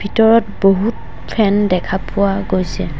ভিতৰত বহুত ফেন দেখা পোৱা গৈছে।